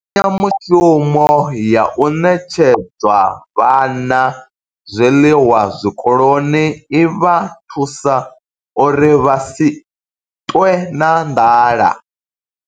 Mbekanya mushumo ya u ṋetshedza vhana zwiḽiwa zwikoloni i vha thusa uri vha si ṱwe na nḓala.